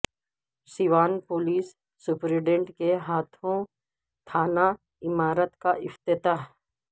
Siwan police superintendent کے ہاتھو ں تھانہ عمارت کاافتتاح